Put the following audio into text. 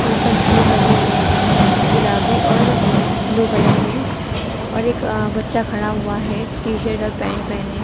उन पर फूल लगे हुए हैं गुलाबी और ब्लू कलर में और एक अ बच्चा खड़ा हुआ है टी शर्ट और पैंट पहने--